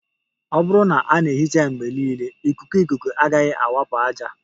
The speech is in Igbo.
Ọ bụrụ na a na-ehicha ya mgbe niile, ikuku ikuku agaghị awakpo ájá